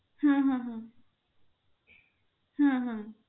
হম